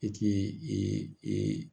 E ti e